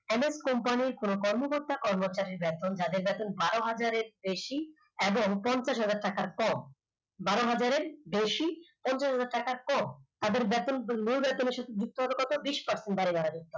অনেক company কোন কর্মকর্তা কর্মচারীর বেতন যাদের বার হাজারের বেশি এবং পঞ্চাশ হাজার টাকার কম বার হাজারের বেশি পঞ্চাশ হাজার টাকার কম তাদের বেতন blue ray commission যুক্ত হবে কত বিষ pecent বাড়ালে